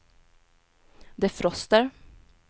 defroster